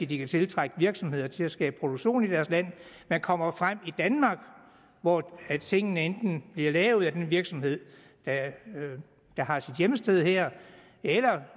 de kan tiltrække virksomheder til at skabe produktion i deres land men kommer frem i i danmark hvor tingene enten bliver lavet af en virksomhed der har sit hjemsted her eller